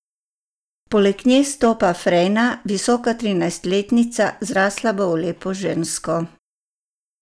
Poleg nje stopa Frejna, visoka trinajstletnica, zrasla bo v lepo žensko.